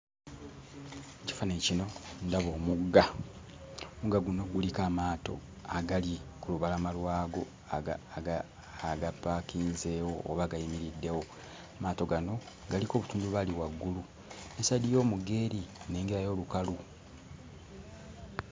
Mu kifaananyi kino ndaba omugga mugga guno guliko amaato agali ku lubalama lwago aga aga agapaakinzeewo oba gayimiriddewo maato gano galiko obutundubaali waggulu ku siyidi y'omugga eri nengerayo olukalu.